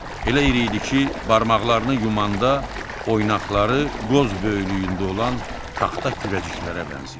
Elə iri idi ki, barmaqlarını yumanda oynaqları qoz böyüklüyündə olan taxta kürəciklərə bənzəyirdi.